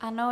Ano.